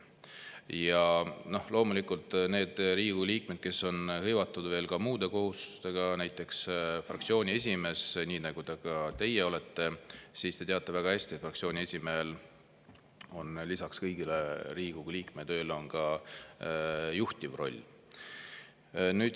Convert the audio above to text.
Ja loomulikult on neid Riigikogu liikmeid, kes on hõivatud muude kohustustega, näiteks fraktsiooni esimees, nii nagu ka teie olete, ja te teate väga hästi, et fraktsiooni esimehel on lisaks Riigikogu liikme tööle ka juhtiv roll.